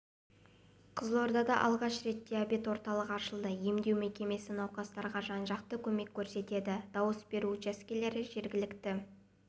қызылордада алғаш рет диабет орталығы ашылды емдеу мекемесі науқастарға жан-жақты көмек көрсетеді дауыс беру учаскелері жергілікті